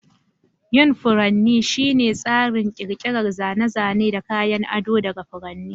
Yin furanni shine tsarin ƙirƙirar zane-zane da kayan ado daga furanni.